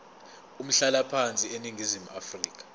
umhlalaphansi eningizimu afrika